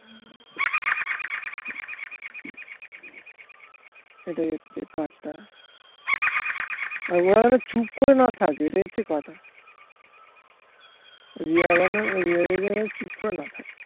এটাই হচ্ছে কাজ টা আর ওরা যেন চুপ করে না থাকে এটাই হচ্ছে কথা রিরিয়া যেন চুপ করে না থাকে